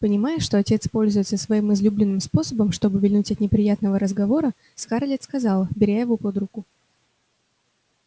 понимая что отец пользуется своим излюбленным способом чтобы увильнуть от неприятного разговора скарлетт сказала беря его под руку